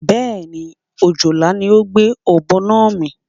Bé̩è̩nì, ojòlá ni ó gbé ò̩bo̩ náà mì.